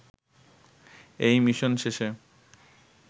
এই মিশন শেষে